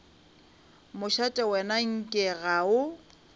mošate wena nke ga o